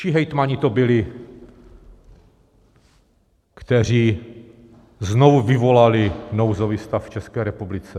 Čí hejtmani to byli, kteří znovu vyvolali nouzový stav v České republice?